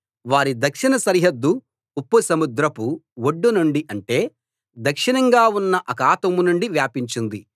వారి దక్షిణ సరిహద్దు ఉప్పు సముద్రపు ఒడ్డు నుండి అంటే దక్షిణంగా ఉన్న అఖాతం నుండి వ్యాపించింది